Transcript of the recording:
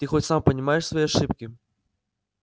ты хоть сам понимаешь свои ошибки